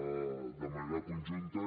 ell de manera conjunta